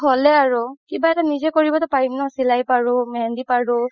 হ'লে আৰু কিবা এটা নিজে কৰিবতো পাৰিম ন চিলাই পাৰো মেহেন্দি পাৰো